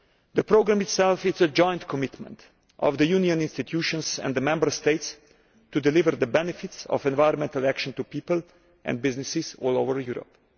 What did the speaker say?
The programme itself is a joint commitment of the Union institutions and the Member States to deliver the benefits of environmental action to people and businesses all over Europe.